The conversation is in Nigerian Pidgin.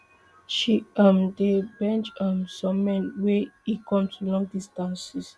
she um dey bench um some men wen e come to long distances